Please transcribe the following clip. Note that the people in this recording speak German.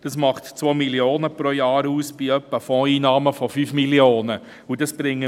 Das macht pro Jahr 2 Mio. Franken aus, bei Fondseinnahmen in der Höhe von 5 Mio. Franken.